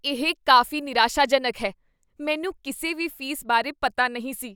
ਇਹ ਕਾਫ਼ੀ ਨਿਰਾਸ਼ਾਜਨਕ ਹੈ। ਮੈਨੂੰ ਕਿਸੇ ਵੀ ਫ਼ੀਸ ਬਾਰੇ ਪਤਾ ਨਹੀਂ ਸੀ।